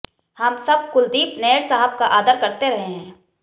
हम सब कुलदीप नैयर साहब का आदर करते रहे हैं